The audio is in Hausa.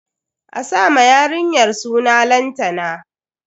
A sa ma yarinyar suna Lantana.